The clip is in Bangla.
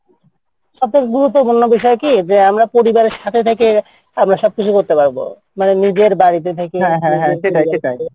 তো বন্ধু অন্য বিষয় কি পরিবারের সাথে থেকে আমরা করতে পারবো মানে নিজের বাড়িতে থেকে